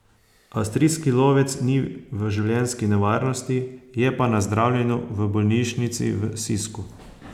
Avstrijski lovec ni v življenjski nevarnosti, je pa na zdravljenju v bolnišnici v Sisku.